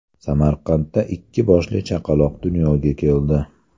Samarqandda ikki boshli chaqaloq dunyoga keldi.